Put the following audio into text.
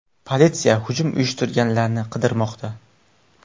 Politsiya hujum uyushtirganlarni qidirmoqda.